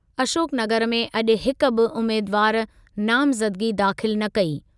अशोकनगर में अॼु हिकु बि उमेदवारु नामज़दगी दाख़िल न कई।